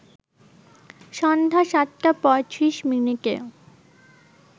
সন্ধ্যা ৭টা ৩৫ মিনিটে